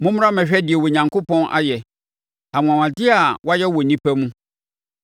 Mommra mmɛhwɛ deɛ Onyankopɔn ayɛ; anwanwadeɛ a wayɛ wɔ nnipa mu.